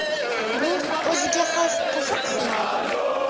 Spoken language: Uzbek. Bu o‘ziga xos qiziq sinov.